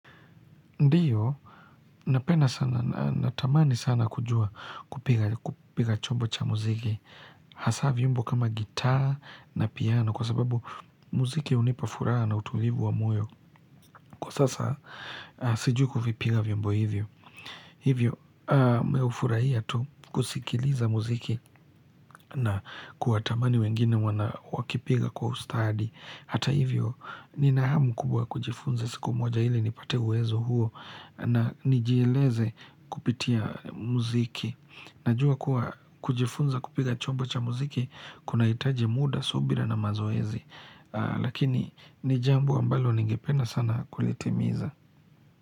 Ndiyo, napenda sana, natamani sana kujua kupiga chombo cha muziki, hasa vyombo kama gitaa na piano, kwa sababu muziki unipa furaha na utulivu wa moyo, kwa sasa sijui kuvipiga vyombo hivyo. Hivyo, mihufurahia tu kusikiliza muziki na kuwatamani wengine wakipiga kwa ustadi. Hata hivyo, ninahamu kubwa kujifunza siku moja ili nipate uwezo huo na nijieleze kupitia muziki. Najua kuwa kujifunza kupiga chombo cha muziki, kunahitaji muda, subira na mazoezi. Lakini, ni jambo ambalo ningependa sana kulitimiza.